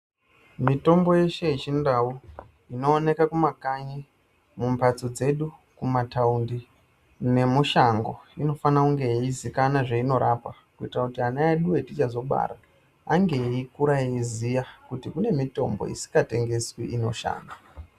Mitombo yeshe yechindau inooneka kumakanyi, mumbatso dzedu, kumataundi nemushango inofana kunge yeizikana zveinorapa kuitira kuti ana edu etichazobara ange eikure eiziya kuti kunemitombo isikatengeswi inoshanda.